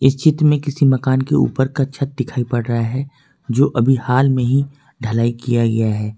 इस चित्र में किसी मकान के ऊपर का छत दिखाई पड़ रहा है जो अभी हाल में ही ढलाई किया गया है।